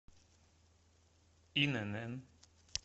инн